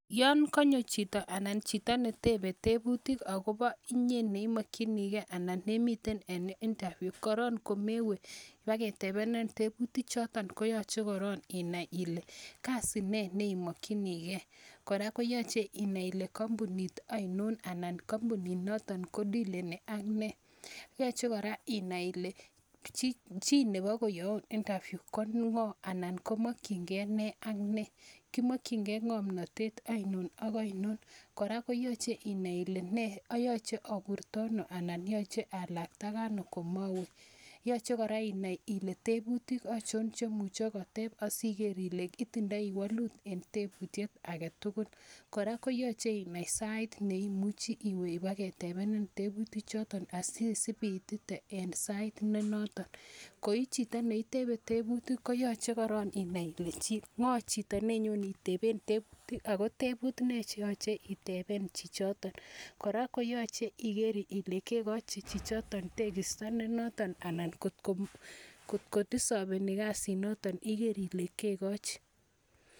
Yon konyo chito anan chito netebe tebutik agobo inye ne imokinige anan nemiten en interview, korong' komewe ibaketebenin tebutik choton koyoche korong inai ile kasit nee ne imokinige. Kora koyoche inai ile kompunit ainon anan kompuninoto kodileni ak nee? Yoche kora inai ile chi nebokoyoun interview ko ng'o anan komokinge ne ak ne? Kimokinge ng'omntatet ainon ak ainon? Kora koyoche inai ile nee yoche aburto anan yoche alaktage ano komowe? Yoche kora inai ile tebutik achon che muche koteb asiiger ile itindo wolut en tebutiet age tugul. Kora koyoche inai saait ne imuchi iwe ibaketebenin tebutik choto asiisibiitite en sait ne noton. Koi chito ne itebe tebutik ko yoche korong' inai ile ng'o chito nenyon iteben tebutik agotebutik nee che yoche iteben chichoto? Kora koyoche iger ile kegochi chichoto tegisto ne notonanan kotko desaveni kasinito iger ile kegochi.